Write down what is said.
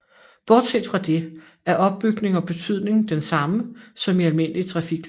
Bortset fra det er opbygning og betydning den samme som i almindelige trafiklys